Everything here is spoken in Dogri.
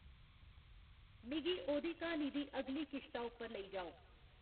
मिगी ओह्दी क्हानी दी अगली किश्ता उप्पर लेई जाओ